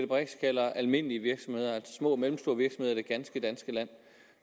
brix kalder almindelige små og mellemstore virksomheder i det ganske danske land